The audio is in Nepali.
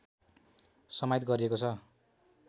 समाहित गारिएको छ।